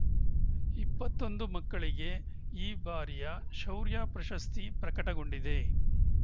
ಇಪ್ಪತ್ತೊಂದು ಮಕ್ಕಳಿಗೆ ಈ ಬಾರಿಯ ಶೌರ್ಯ ಪ್ರಶಸ್ತಿ ಪ್ರಕಟಗೊಂಡಿದೆ